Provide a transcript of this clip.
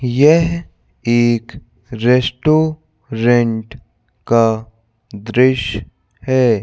यह एक रेस्टोरेंट का दृश्य है।